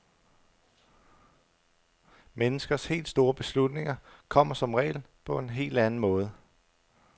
Menneskers helt store beslutninger kommer som regel på en helt anden måde.